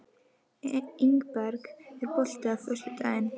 Ingberg, er bolti á föstudaginn?